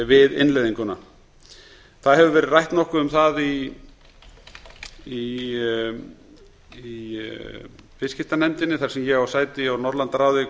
við innleiðinguna það hefur verið rætt nokkuð um það í viðskiptanefndinni þar sem ég á sæti í norðurlandaráði